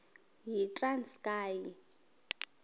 yitranskayi